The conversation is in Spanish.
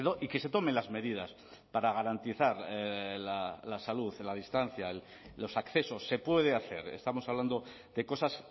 y que se tomen las medidas para garantizar la salud en la distancia los accesos se puede hacer estamos hablando de cosas